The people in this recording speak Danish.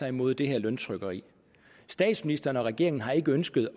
imod det her løntrykkeri statsministeren og regeringen har ikke ønsket